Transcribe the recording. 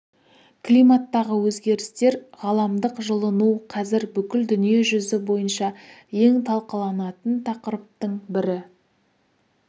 климаттағы өзгерістер ғаламдық жылыну қазір бүкіл дүниежүзі бойынша ең талқыланатын тақырыптың бірі